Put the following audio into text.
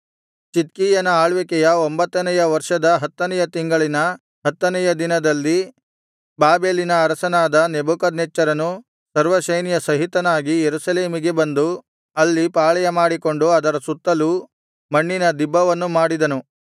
ಚಿದ್ಕೀಯನ ಆಳ್ವಿಕೆಯ ಒಂಭತ್ತನೆಯ ವರ್ಷದ ಹತ್ತನೆಯ ತಿಂಗಳಿನ ಹತ್ತನೆಯ ದಿನದಲ್ಲಿ ಬಾಬೆಲಿನ ಅರಸನಾದ ನೆಬೂಕದ್ನೆಚ್ಚರನು ಸರ್ವಸೈನ್ಯ ಸಹಿತನಾಗಿ ಯೆರೂಸಲೇಮಿಗೆ ಬಂದು ಅಲ್ಲಿ ಪಾಳೆಯಮಾಡಿಕೊಂಡು ಅದರ ಸುತ್ತಲೂ ಮಣ್ಣಿನ ದಿಬ್ಬವನ್ನು ಮಾಡಿದನು